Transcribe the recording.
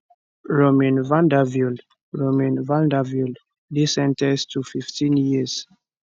romain vandevelde romain vandevelde dey sen ten ced to 15 years